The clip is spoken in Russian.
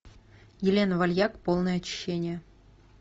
елена вальяк полное очищение